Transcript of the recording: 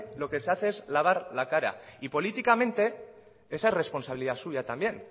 lo que se hace es lavar la cara y políticamente esa es responsabilidad suya también